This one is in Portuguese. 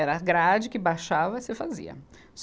Era grade que baixava e você fazia.